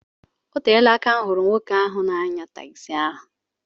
Oteela aka m hụrụ nwoke n'anya takzi ahụ.